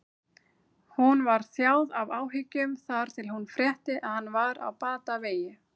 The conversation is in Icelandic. Hún var þjáð af áhyggjum þar til hún frétti að hann var á batavegi.